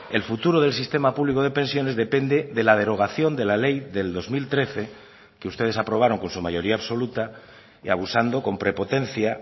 el futuro del sistema público de pensiones depende de la derogación de la ley del dos mil trece que ustedes aprobaron con su mayoría absoluta y abusando con prepotencia